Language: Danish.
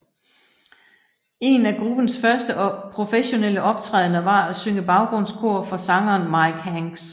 En af gruppens første professionelle optrædender var at synge baggrundskor for sangeren Mike Hanks